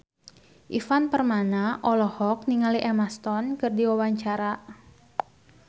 Ivan Permana olohok ningali Emma Stone keur diwawancara